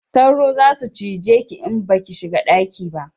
Sauro za su cije ki in ba ki shiga daki ba